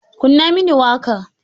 Kunna mini waƙa!